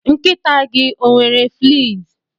Nkịta gị ọ nwere fleas?